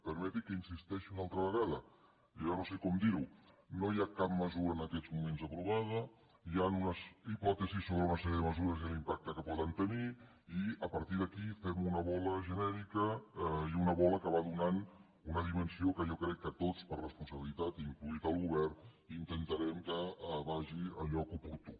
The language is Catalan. permeti’m que hi insisteixi una altra vegada jo ja no sé com dir ho no hi ha cap mesura en aquests moments aprovada hi han unes hipòtesis sobre una sèrie de mesures i l’impacte que poden tenir i a partir d’aquí fem una bola genèrica i una bola que va donant una dimensió que jo crec que tots per responsabilitat inclòs el govern intentarem que vagi al lloc oportú